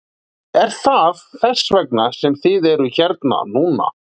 Er það þess vegna sem þið eruð hérna núna?